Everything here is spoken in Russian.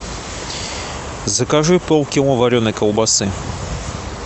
закажи пол кило вареной колбасы